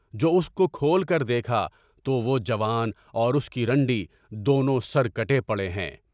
جو اس کو کھول کر دیکھا تو وہ جوان اور اس کی رنڈی دونوں سر کٹے پڑے ہیں۔